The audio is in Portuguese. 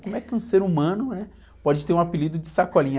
Como é que um ser humano, né? Pode ter um apelido de sacolinha?